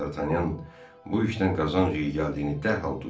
Dartanyan bu işdən qazanc gəldiyini dərhal duydu.